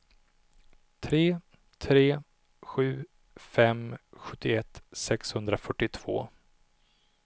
tre tre sju fem sjuttioett sexhundrafyrtiotvå